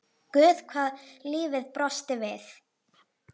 Guð hvað lífið brosti við.